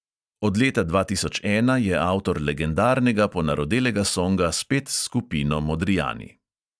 Od leta dva tisoč ena je avtor legendarnega ponarodelega songa spet s skupino modrijani.